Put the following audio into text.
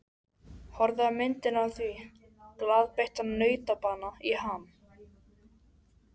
Horfði á myndina á því, glaðbeittan nautabana í ham.